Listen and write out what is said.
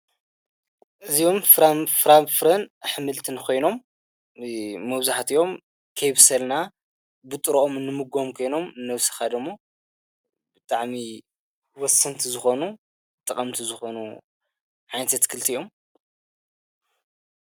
እዚይዮም ፍራምፍርን ኣኅምልቲንኾይኖም መውዙህትዮም ኬብሰልና ብጥራኦም ንምጎም ኴይኖም ነፍስኻደሞ ብጥዕሚ ወስንቲ ዝኾኑ ጥቐምቲ ዝኾኑ ዓይንተ ትክልቲ እዮም።